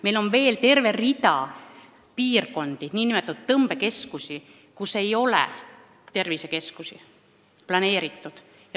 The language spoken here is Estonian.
Meil on veel terve rida nn tõmbekeskusi, kuhu ei ole tervisekeskust planeeritud.